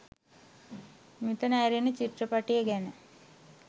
මෙතන ඇරෙන්න චිත්‍රපටය ගැන